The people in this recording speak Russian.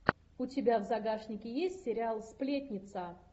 у тебя в загашнике есть сериал сплетница